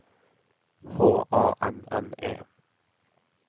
H A N N E